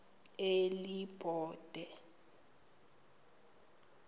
elibode